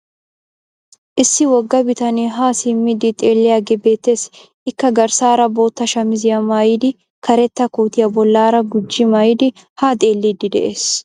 Issi wogga bitanee haa simmidi xeelliyagee beettes. Ikka garssaara bootta shamiziya maayidi karetta kootiya bollaara gujji mayidi haa xelliiddi de'ees.